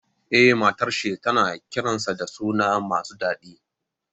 Eh, matar shi tana kiransa da sunaye masu dadi.